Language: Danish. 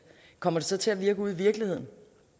kommer det så til at virke ude i virkeligheden